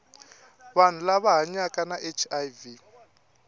vanhu lava hanyaka na hiv